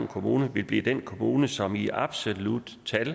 kommune vil blive den kommune som i absolutte tal